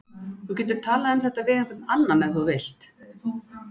Þú getur talað um þetta við einhvern annan ef þú vilt.